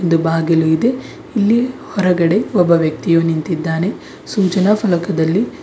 ದು ಬಾಗಿಲು ಇದೆ ಇಲ್ಲಿ ಹೊರಗಡೆ ಒಬ್ಬ ವ್ಯಕ್ತಿಯು ನಿಂತಿದ್ದಾನೆ ಸೂಚನಾ ಪಲಕದಲ್ಲಿ--